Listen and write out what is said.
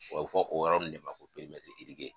A bɛ fɔ o yɔrɔ ninnu de ma ko